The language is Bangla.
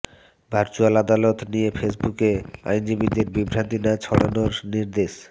ভার্চুয়াল আদালত নিয়ে ফেসবুকে আইনজীবীদের বিভ্রান্তি না ছড়ানোর নির্দেশ